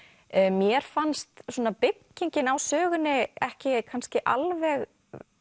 mér fannst byggingin á sögunni ekki kannski alveg